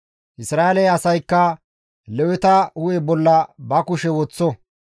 Isra7eele asaykka Leweta hu7e bolla ba kushe woththo.